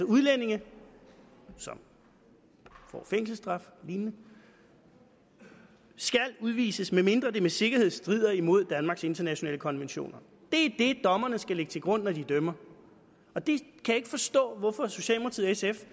udlændinge som får fængselsstraf og lignende skal udvises medmindre det med sikkerhed strider imod danmarks internationale konventioner det er det dommerne skal lægge til grund når de dømmer og det kan jeg ikke forstå hvorfor socialdemokratiet